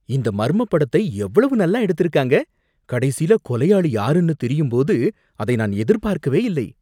இந்த மர்மப் படத்தை எவ்வளவு நல்லா எடுத்திருக்காங்க, கடைசில கொலையாளி யாருன்னு தெரியும் போது அதை நான் எதிர்பாக்கவே இல்லை.